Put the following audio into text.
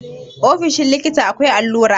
ofoshin likita akwai allura